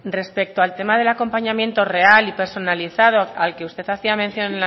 respecto al tema del acompañamiento real y personalizado al que usted hacía mención